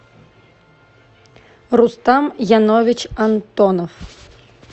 рустам янович антонов